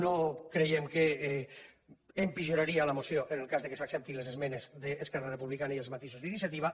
no creiem que empitjoraria la moció en el cas que s’acceptin les esmenes d’esquerra republicana i els matisos d’iniciativa